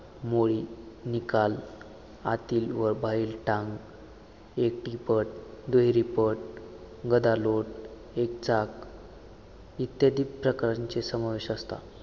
मोळी निकाल आतील व बाहेरील टांग एकटीपद दुहेरीपद गदालोट एकचाक इत्यादी प्रकारांचे समावेश असतात.